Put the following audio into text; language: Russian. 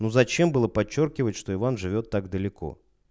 ну зачем было подчёркивать что иван живёт так далеко